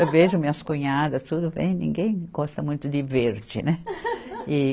Eu vejo minhas cunhadas, tudo vem, ninguém gosta muito de verde, né?